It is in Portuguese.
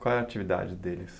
Qual a atividade deles?